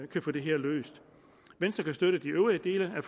kan få det her løst venstre kan støtte de øvrige dele af